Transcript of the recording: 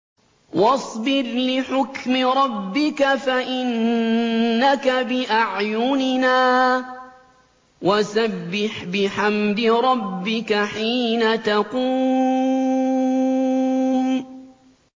وَاصْبِرْ لِحُكْمِ رَبِّكَ فَإِنَّكَ بِأَعْيُنِنَا ۖ وَسَبِّحْ بِحَمْدِ رَبِّكَ حِينَ تَقُومُ